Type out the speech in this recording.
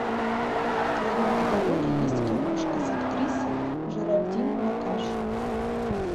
в твоем каталоге есть киношка с актрисой жеральдин накаш